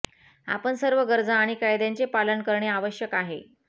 आपण सर्व गरजा आणि कायद्यांचे पालन करणे आवश्यक आहे